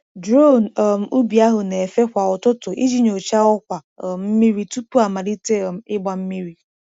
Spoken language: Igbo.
Drone um ubi ahụ na-efe kwa ụtụtụ iji nyochaa ọkwa um mmiri tupu amalite um ịgba mmiri.